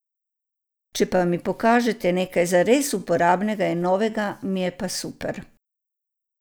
Če pa mi pokažete nekaj zares uporabnega in novega mi je pa super.